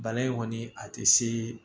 Bana in kɔni a tɛ se